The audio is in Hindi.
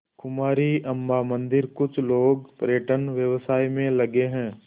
कुमारी अम्मा मंदिरकुछ लोग पर्यटन व्यवसाय में लगे हैं